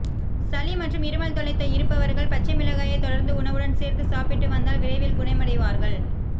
சளி மற்றும் இருமல் தொல்லை இருப்பவர்கள் பச்சை மிளகாயை தொடர்ந்து உணவுடன் சேர்த்து சாப்பிட்டு வந்தால் விரைவில் குணமடைவார்கள்